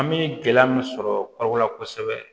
An bɛ gɛlɛya min sɔrɔ la kosɛbɛ